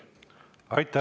Aitäh!